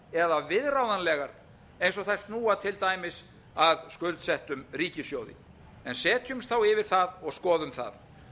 eða viðráðanlegar eins og þær snúa til dæmis að skuldsettum ríkissjóði en setjumst þá yfir það og skoðum það